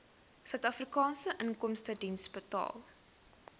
suidafrikaanse inkomstediens betaal